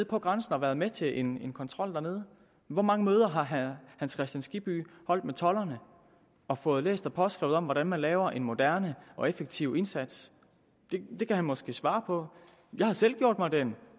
på grænsen og været med til en kontrol dernede hvor mange møder har herre hans kristian skibby holdt med tolderne og fået læst og påskrevet om hvordan man laver en moderne og effektiv indsats det kan han måske svare på jeg har selv gjort mig den